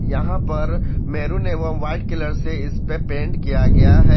यहां पर मेहरून एवं व्हाइट कलर से इस पर पेंट किया गया है।